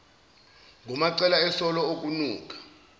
ngumacele esola okunuka